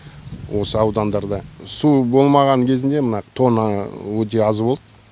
осы аудандарда су болмаған кезінде мына тоңы өте аз болды